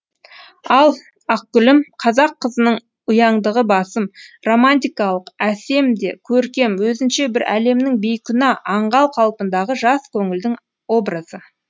ал ақ гүлім қазақ қызының ұяңдығы басым романтикалық әсем де көркем өзінше бір әлемнің бейкүнә аңғал қалпындағы жас көңілдің образы